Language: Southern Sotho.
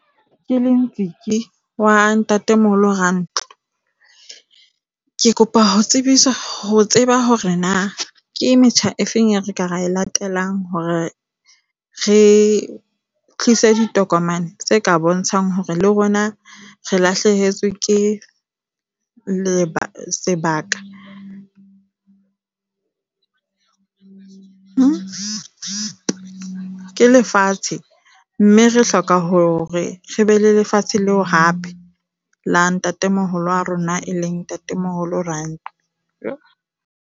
Ke le Ntsiki wa ntatemoholo . Ke kopa ho tsebiswa ho tseba hore na ke metjha efeng eo re ka re e latelang hore re tlise ditokomane tse ka bontshang hore le rona re lahlehetswe ke lebaka sebaka ke lefatshe, mme re hloka hore re be le lefatshe leo hape la ntatemoholo wa rona e leng ntatemoholo Rantlo.